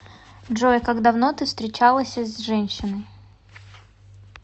джой как давно ты всречалася с женщиной